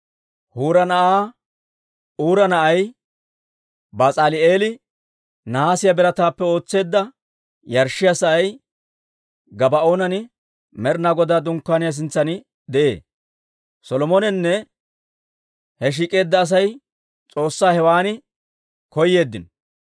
Huura na'aa Uura na'ay Bas'aali'eeli nahaasiyaa birataappe ootseedda yarshshiyaa sa'ay Gabaa'oonan Med'inaa Godaa Dunkkaaniyaa sintsan de'ee. Solomoninne he shiik'eedda Asay S'oossaa hewan koyyeeddino.